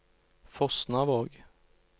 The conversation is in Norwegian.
Fosnavåg